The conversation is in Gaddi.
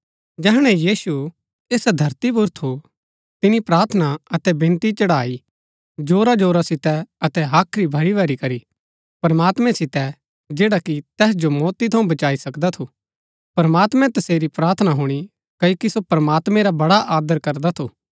जैहणै यीशु ऐसा धरती पुर थू तिनी प्रार्थना अतै विनती चढ़ाई जोराजोरा सितै अतै हाख्री भरीभरी करी प्रमात्मैं सितै जैडा कि तैस जो मौती थऊँ बचाई सकदा थू प्रमात्मैं तसेरी प्रार्थना हुणी क्ओकि सो प्रमात्मैं रा बड़ा आदर करदा थू